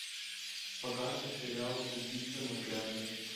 показывай сериал убийство на пляже